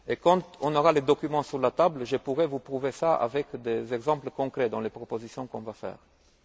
Quand on aura les documents sur la table, je pourrai vous prouver cela avec des exemples concrets dans les propositions que nous allons formuler.